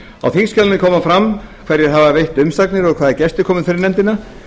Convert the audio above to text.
á þingskjalinu kemur fram hverjir veittu umsagnir hvaða gestir komu fyrir nefndina